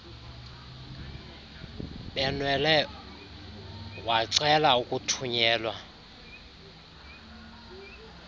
benwele wacela ukuthunyelwa